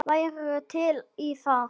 Værirðu til í það?